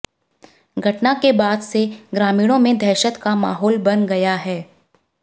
घटना के बाद से ग्रामीणों में दहशत का माहौल बन गया है